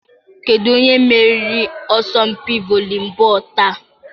Kedu onye meriri asọmpi volibọọlụ taa?